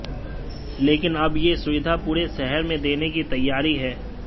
लेकिन अब यह सुविधा पूरे शहर में देने की तैयारी है